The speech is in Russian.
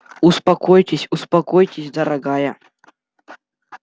успокойтесь успокойтесь дорогая